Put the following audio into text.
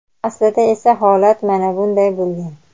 Aslida esa, holat mana bunday bo‘lgan.